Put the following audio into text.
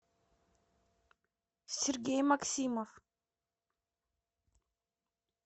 сергей максимов